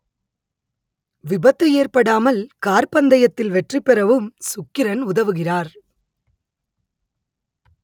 விபத்து ஏற்படாமல் கார் பந்தயத்தில் வெற்றி பெறவும் சுக்கிரன் உதவுகிறார்